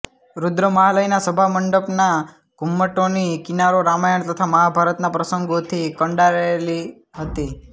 રુદ્રમહાલયના સભામંડપના ઘુમ્મટોની કિનારો રામાયણ તથા મહાભારતના પ્રસંગોથી કંડારાયેલી હતી